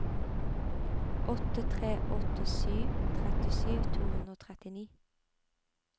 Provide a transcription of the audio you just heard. åtte tre åtte sju trettisju to hundre og trettini